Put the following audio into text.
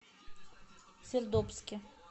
сердобске